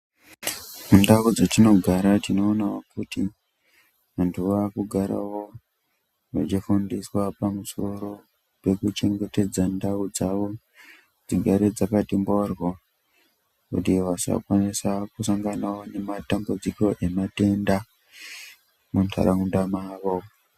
Mundau dzetinogara tinoonawo kuti vanhu vakugare vechifundiswa pamusoro pekuchengetedza ndau dzavo kuti dzigare dzakati mhoryo kuti vasakwanise kusanganawo nematambudziko ematenda munharaunda mwavo.